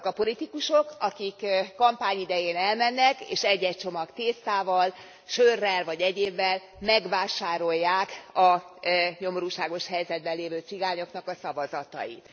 Azok a politikusok, akik kampány idején elmennek, és egy egy csomag tésztával, sörrel vagy egyébbel megvásárolják a nyomorúságos helyzetben lévő cigányoknak a szavazatait.